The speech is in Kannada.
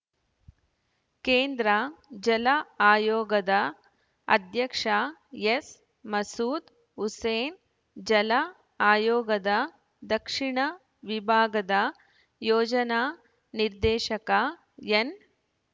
ಕೇಂದ್ರ ಜಲ ಆಯೋಗದ ಅಧ್ಯಕ್ಷ ಎಸ್‌ ಮಸೂದ್‌ ಹುಸೇನ್‌ ಜಲ ಆಯೋಗದ ದಕ್ಷಿಣ ವಿಭಾಗದ ಯೋಜನಾ ನಿರ್ದೇಶಕ ಎನ್‌